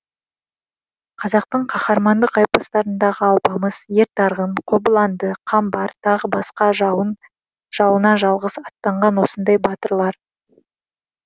қазақтың қаһармандық эпостарындағы алпамыс ер тарғын қобыланды қамбар тағы басқа жауына жалғыз аттанған осындай батырлар